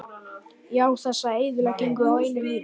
Já, þessa eyðileggingu á einu lífi.